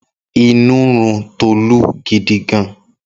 Inú ń run Tolú gidigan